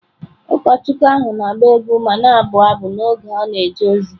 Ụkọchukwu ahụ na-agba egwu ma na-abụ abụ n’oge ọ na-eje ozi.